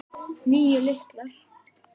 Níu lyklar.